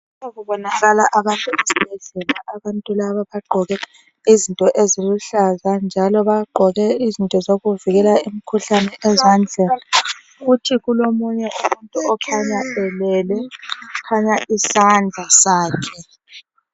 Lapha kubonakala abasesibhedlela. Abantu laba bagqoke izinto eziluhlaza, njalo bagqoke izinto zokuvikela imikhuhlane ezandleni. Kuthi kulomunye umuntu okhanya elele. Kukhanya isandla sakhe.